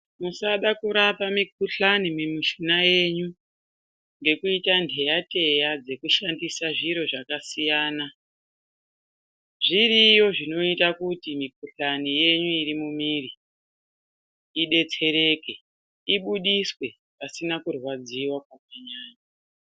Musadaro kurapa mukhuhlani mumishuna yenyu nekuita ndeyateya dzekushandisa zviro zvakasiyana zviriyo zvinoita kuti mikuhlani yenyu imire , idetsereke , ibudiswe pasina kurwadziwa kwakanyanya.